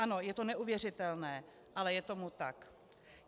Ano, je to neuvěřitelné, ale je tomu tak.